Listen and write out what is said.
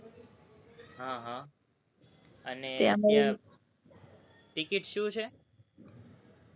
હં હા, અને ત્યાં ticket શું છે?